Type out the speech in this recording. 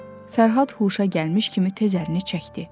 Fərhad huşa gəlmiş kimi tez əlini çəkdi.